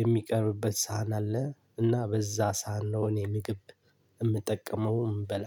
የሚቀርብበት ሳህን አለ። እና በዛ ሳህን ነው ምግብ የምጠቀመው እምበላ።